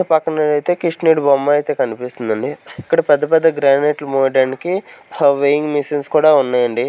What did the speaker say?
పక్కన అయితే కృష్ణుడి బొమ్మ అయితే కనిపిస్తుందండి ఇక్కడ పెద్ద పెద్ద గ్రానైట్లు మోయడానికి వేయింగ్ మిషన్స్ కూడా ఉన్నాయండి.